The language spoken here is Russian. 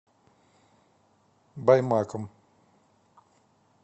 баймаком